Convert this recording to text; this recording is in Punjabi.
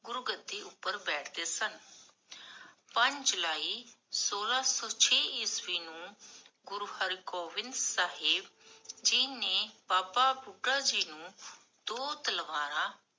ਗੁਰੂ ਗਦੀ ਉਪਰ ਬੈਠਦੇ ਸਨ ਪੰਜ ਜੁਲਾਈ ਸੋਲਾਹ ਸੋ ਛੇ ਈਸਵੀ ਨੂੰ, ਗੁਰੂ ਹਰ੍ਗੋਵਿੰਦ ਸਾਹਿਬ ਜੀ ਨੇ ਬਾਬਾ ਬੁਢਾ ਜੀ ਨੂੰ ਦੋ ਤਲਵਾਰ